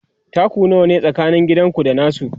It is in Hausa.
taku nawa ne tsakanin gidanku da nasu?